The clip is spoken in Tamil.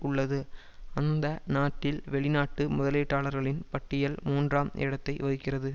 உள்ளது அந்த நாட்டில் வெளிநாட்டு முதலீட்டாளர்களின் பட்டியல் மூன்றாம் இடத்தை வகிக்கிறது